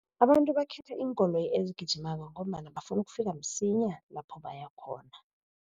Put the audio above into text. Abantu bakhetha iinkoloyi ezigijimako, ngombana bafuna ukufika msinya lapho baya khona.